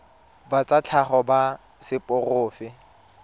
ba tsa tlhago ba seporofe